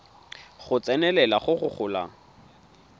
go tsenelela go go golang